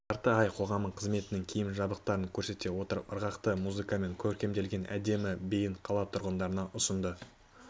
жарты ай қоғамы қызметінің киім-жабдықтарын көрсете отырып ырғақты музыкамен көркемделген әдемі биін қала тұрғындарына ұсынды